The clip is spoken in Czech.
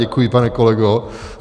Děkuji, pane kolego.